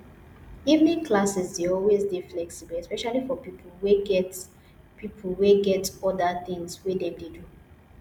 evening classes dey always dey flexible especially for pipo wey get pipo wey get oda things wey dem dey do